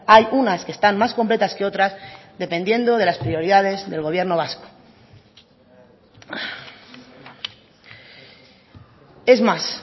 hay unas que están más completas que otras dependiendo de las prioridades del gobierno vasco es más